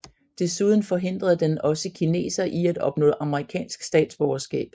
Desuden forhindrede den også kinesere i at opnå amerikansk statsborgerskab